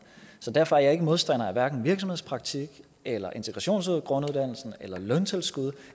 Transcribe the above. så derfor er jeg ikke modstander af virksomhedspraktik eller integrationsgrunduddannelse løntilskud